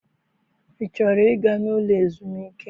I chọrọ ịga n'ụlọ ezumike?